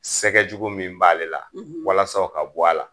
Sɛgɛ jugu min b'ale la walasa o ka bɔ a la